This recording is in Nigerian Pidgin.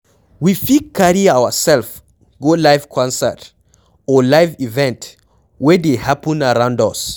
We fit carry ourself go live concert or live event wey dey happen around us